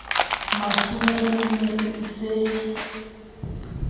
mathomo e ne e se